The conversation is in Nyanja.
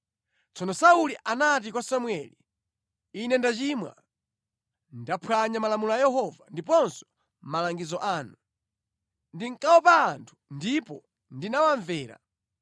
Tsono Sauli anati kwa Samueli, “Ine ndachimwa. Ndaphwanya malamulo a Yehova ndiponso malangizo anu. Ndinkaopa anthu ndipo ndinawamvera.